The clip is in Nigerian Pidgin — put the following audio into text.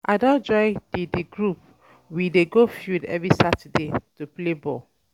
I um don join di di group we dey go field every Saturday um to play ball.